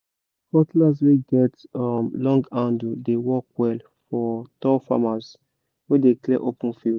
cutlass wey get um long handle dey work well for tall farmers wey dey clear open field